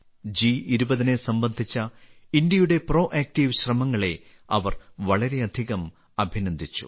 ജി20നെ സംബന്ധിച് പരപ്രേരണ കൂടാതെ സംരംഭങ്ങളിൽ മുൻകൈ എടുക്കാനുള്ള ഇന്ത്യയുടെ ശ്രമങ്ങളെ അവർ വളരെയധികം അഭിനന്ദിച്ചു